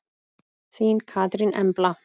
Þín Katrín Embla.